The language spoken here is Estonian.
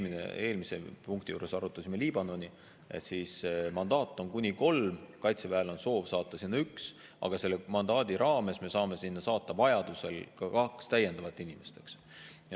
Näiteks, kui me eelmise punkti juures arutasime Liibanoni, siis mandaat on kuni kolmele, Kaitseväel on soov saata sinna üks, aga selle mandaadi raames me saame saata sinna vajadusel kaks täiendavat inimest, eks.